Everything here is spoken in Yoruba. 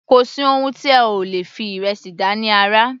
Kò sí oun tí ẹ ò lè fi ìrẹsì dá ní àrà.